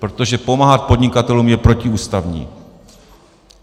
Protože pomáhat podnikatelům je protiústavní.